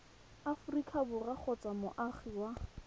aforika borwa kgotsa moagi wa